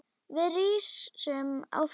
Við rísum á fætur.